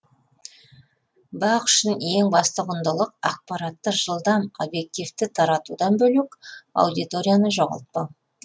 бақ үшін ең басты құндылық ақпаратты жылдам объективті таратудан бөлек аудиторияны жоғалтпау